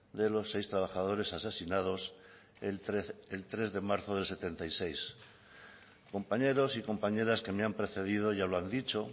de los seis trabajadores asesinados el tres de marzo del mil novecientos setenta y seis compañeros y compañeras que me han precedido ya lo han dicho